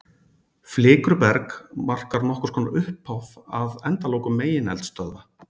Flikruberg markar nokkurs konar upphaf að endalokum megineldstöðva.